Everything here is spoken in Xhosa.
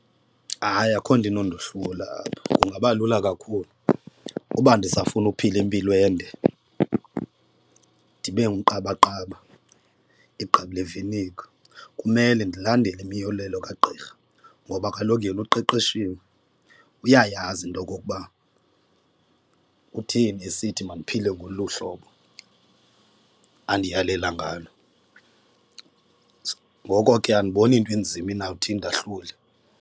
Hayi, akho nto inondohlula apha kungaba lula kakhulu. Uba ndisafuna ukuphila impilo ende ndibe ngumqabaqaba igqabi le viniga kumele ndilandele imiyolelo kagqirha, ngoba kaloku yena uqeqeshiwe, uyayazi into okokuba kutheni esithi mandiphile ngolu hlobo andiyalela ngalo. Ngoko ke andiboni into enzima inawuthi indahlule.